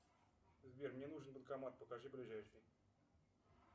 сбер мне нужен банкомат покажи ближайший